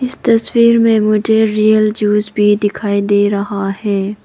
इस तस्वीर में मुझे रियल जूस भी दिखाई दे रहा है।